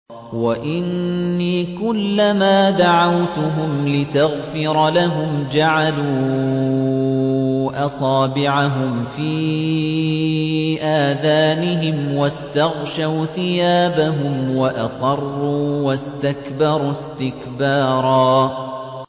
وَإِنِّي كُلَّمَا دَعَوْتُهُمْ لِتَغْفِرَ لَهُمْ جَعَلُوا أَصَابِعَهُمْ فِي آذَانِهِمْ وَاسْتَغْشَوْا ثِيَابَهُمْ وَأَصَرُّوا وَاسْتَكْبَرُوا اسْتِكْبَارًا